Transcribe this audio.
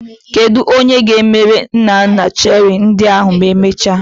Kedu onye ga-emere nna nna cherie ndị ahụ ma emechaa?